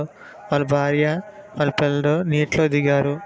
వాళ్ళ భార్య వాళ్ళ పిల్లలు నీటిలో దిగారు.